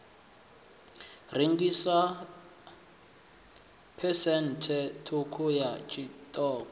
rengiswa phesenthe ṱhukhu ya tshiṱoko